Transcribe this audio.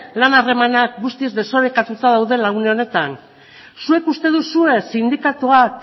lan harremanak guztiz desorekatuta daudela une honetan zuek uste duzue sindikatuak